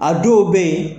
A dɔw bɛ yen